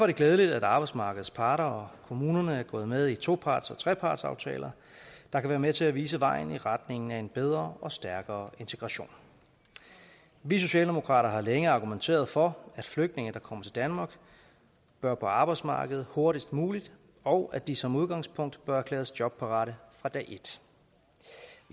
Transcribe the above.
det glædeligt at arbejdsmarkedets parter og kommunerne er gået med i toparts og trepartsaftaler der kan være med til at vise vejen i retning af en bedre og stærkere integration vi socialdemokrater har længe argumenteret for at flygtninge der kommer til danmark bør på arbejdsmarkedet hurtigst muligt og at de som udgangspunkt bør erklæres jobparate fra dag et